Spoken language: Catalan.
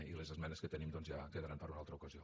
i les esmenes que tenim doncs ja quedaran per a una altra ocasió